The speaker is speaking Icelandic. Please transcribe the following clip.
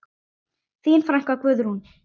Þín frænka, Guðrún.